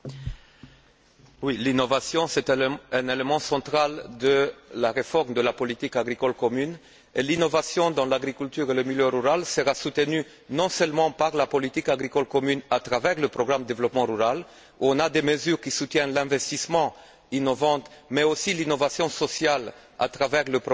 L'innovation est un élément central de la réforme de la politique agricole commune et l'innovation dans l'agriculture et le milieu rural sera soutenue non seulement par la politique agricole commune à travers le programme de développement rural, qui comprend des mesures qui soutiennent l'investissement innovant mais aussi l'innovation sociale à travers le programme LEADER, qui va